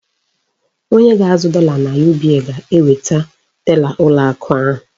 Onye ga-azụ dọla na UBA ga-enwe tela ụlọ akụ ahụ.